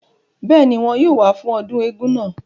bẹ́ẹ̀ni, wọn yóò wá fún ọdún eégún náà